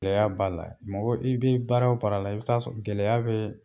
Gɛlɛya b'a la, mɔgɔ i bɛ baara o baara la, i bɛ t'a sɔrɔ gɛlɛya b'a la.